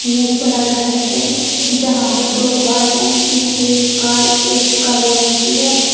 यह एक बड़ा घर है जहां पर दो कार हैं पीछे एक कार एक काले रंग की है।